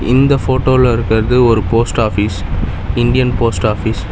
இந்த போட்டோல இருக்குறது ஒரு post office Indian post office .